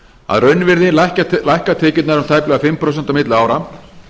að raunvirði lækka tekjurnar um tæplega fimm prósent á milli ára